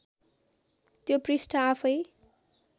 त्यो पृष्ठ आफैँ